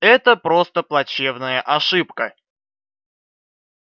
это просто плачевная ошибка